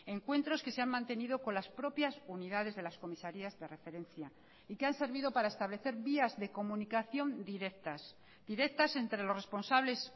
encuentros que se han mantenido con las propias unidades de las comisarías de referencia y que han servido para establecer vías de comunicación directas directas entre los responsables